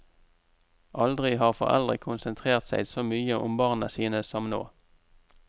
Aldri har foreldre konsentrert seg så mye om barna sine som nå.